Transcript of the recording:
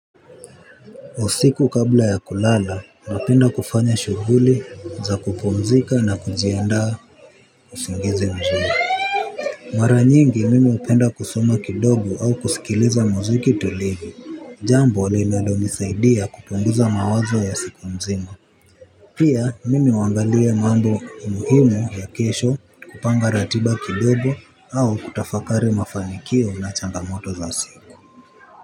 Usiku kabla ya kulala napenda kufanya shuvuli za kupumzika na kujiandaa usingizi mzuri. Mara nyingi mimi upenda kusoma kidogo au kusikiliza muziki tulivi jambo linalonisaidia kupunguza mawazo ya siku mzima. Pia mimi huangalia mambo muhimu ya kesho kupanga ratiba kidogo au kutafakari mafanikio na changamoto za siku.